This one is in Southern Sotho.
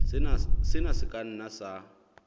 sena se ka nna sa